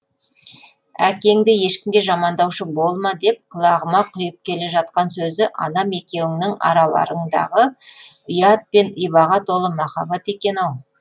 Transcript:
әкеңді ешкімге жамандаушы болма деп құлағыма құйып келе жатқан сөзі анам екеуіңнің араларыңдағы ұят пен ибаға толы махаббат екен ау